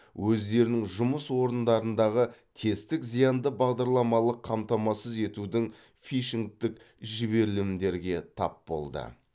өздерінің жұмыс орындарындағы тестік зиянды бағдарламалық қамтамасыз етудің фишингтің жіберілімдерге тап болды